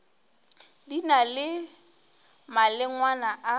di na le malengwana a